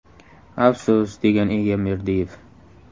Afsus!”, degan Egamberdiyev.